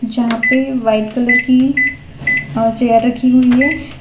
जहां पे white colour की अ चेयर रखी हुई है।